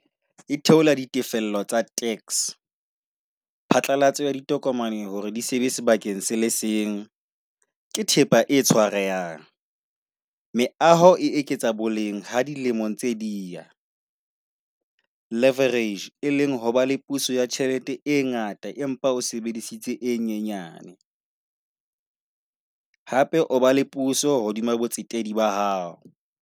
E theola di tefello tsa tax. Phatlalatso ya ditokomane hore di sebe sebakeng se le seng ke thepa e tshwarehang. Meaho e eketsa boleng ha dilemong tse di ya. Leverage, e leng hore ba le puso ya tjhelete e ngata, empa o sebedisitse e nyenyane. Hape o ba le puso hodima botsetedi bo hao.